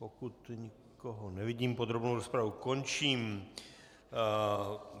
Pokud nikoho nevidím, podrobnou rozpravu končím.